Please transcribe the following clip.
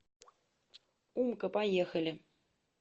умка поехали